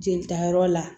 Jelita yɔrɔ la